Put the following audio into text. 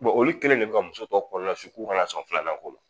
olu kelen de bi ka muso tɔw kɔnɔna su k'u kana sɔn filananko ma.